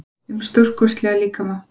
um stórkostlega líkama.